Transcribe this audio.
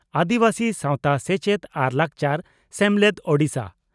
ᱟᱹᱫᱤᱵᱟᱹᱥᱤ ᱥᱟᱣᱛᱟ ᱥᱮᱪᱮᱫ ᱟᱨ ᱞᱟᱠᱪᱟᱨ ᱥᱮᱢᱞᱮᱫ (ᱳᱰᱤᱥᱟ)